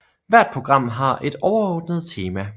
Hvert program har et overordnet tema